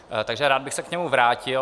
Takže rád bych se k němu vrátil.